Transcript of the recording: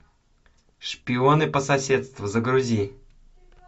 шпионы по соседству загрузи